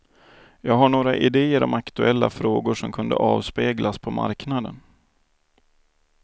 Jag har några idéer om aktuella frågor som kunde avspeglas på marknaden.